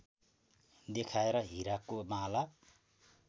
देखाएर हिराको माला